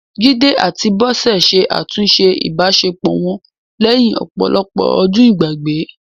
Jide àti Bose ṣe àtúnṣe ìbáṣepọ̀ wọn lẹ́yìn ọ̀pọ̀lọpọ̀ ọdún ìgbàgbé